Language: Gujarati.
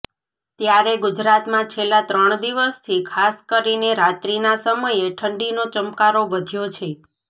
ત્યારે ગુજરાતમાં છેલ્લા ત્રણ દિવસથી ખાસ કરીને રાત્રીના સમયે ઠંડીનો ચમકારો વધ્યો છે